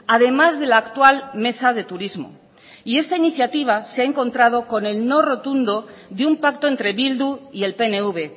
además de la actual mesa de turismo esta iniciativa se ha encontrado con el no rotundo de un pacto entre bildu y el pnv